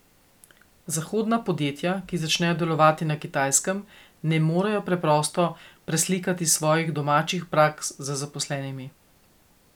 Zahodna podjetja, ki začnejo delovati na Kitajskem, ne morejo preprosto preslikati svojih domačih praks z zaposlenimi.